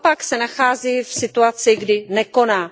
Naopak se nachází v situaci, kdy nekoná.